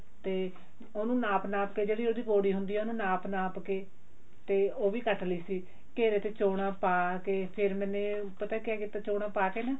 ਤੇ ਉਹਨੂੰ ਨਾਪ ਨਾਪ ਕੇ ਜਿਹੜੀ ਹੁੰਦੀਦੀ ਹੁੰਦੀ ਆ ਉਹਨੂੰ ਨਪ ਨਾਪ ਕੇ ਤੇ ਉਹ ਵੀ ਕੱਟ ਲਈ ਸੀ ਘੇਰੇ ਤੇ ਚੋਣਾਂ ਪਾ ਕੇ ਫੇਰ ਮੈਨੇ ਪਤਾ ਕਿਆ ਕੀਤਾ ਛਾ ਪਾ ਕੇ ਨਾ ਥੱਲੇ ਲਾਈਨਿੰਗ ਲਾ ਲਈ ਉੱਪਰ ਫੈਂਸੀ ਜਾ ਕੱਪੜਾ ਲਾ ਲਿਆ